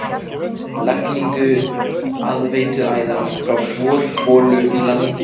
Lagningu aðveituæðar frá borholu í landi